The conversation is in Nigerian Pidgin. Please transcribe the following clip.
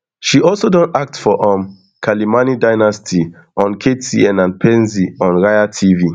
she also don act for um kalimani dynasty on ktn and penzi on raia tv